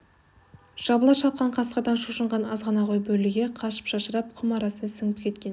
жабыла шапқан қасқырдан шошынған азғана қой бөрліге қашып шашырап құм арасына сіңіп кеткен